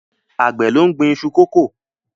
Àgbẹ̀ ló ń gbin iṣu kókò.